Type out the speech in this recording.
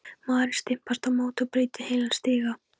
Maðurinn stimpast á móti og brýtur heilan stiga!